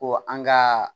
Ko an ka